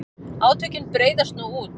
Átökin breiðast nú út.